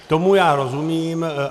Tomu já rozumím.